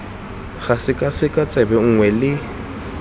ga sekwasekwa tsebe nngwe le